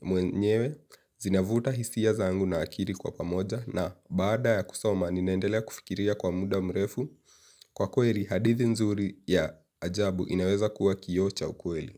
mwenyewe, zinavuta hisia zangu na akili kwa pamoja, na baada ya kusoma ninaendelea kufikiria kwa muda mrefu. Kwa kweli hadithi nzuri ya ajabu inaweza kuwa kioo cha ukweli.